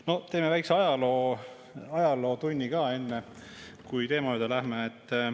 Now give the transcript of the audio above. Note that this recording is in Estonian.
No teeme väikse ajalootunni ka enne, kui teema juurde läheme.